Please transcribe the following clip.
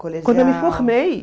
Quando eu me formei.